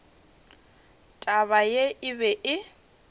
taba ye e be e